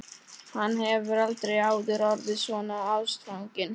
Hann hefur aldrei áður orðið svona ástfanginn.